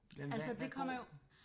Altså det kommer jo